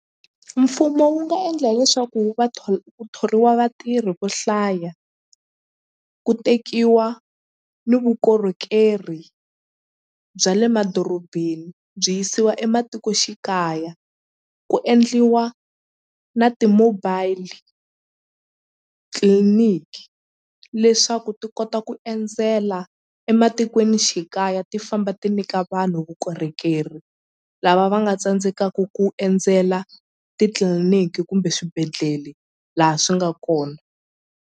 Mfumo wu nga endla leswaku ku thoriwa vatirhi vo hlaya ku tekiwa ni vukorhokeri bya le madorobeni byi yisiwa ematikoxikaya ku endliwa na ti-mobile tliliniki leswaku ti kota ku endzela ematikweni xikaya ti famba ti nyika vanhu vukorhokeri lava va nga tsandzekaku ku endzela titliliniki kumbe swibedhlele la swi nga kona.